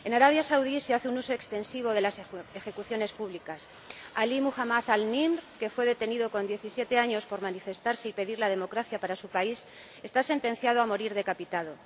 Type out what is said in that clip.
En Arabia Saudí se hace un uso extensivo de las ejecuciones públicas Alí Mohamed al Nimr, que fue detenido con 17 años por manifestarse y pedir la democracia para su país, está sentenciado a morir decapitado.